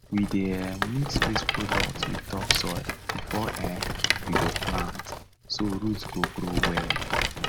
we dey um mix waste product with topsoil before um we go plant so root go grow well